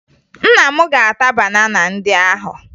Nna m ga-ata banana ndị ahụ